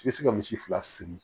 I bɛ se ka misi fila segin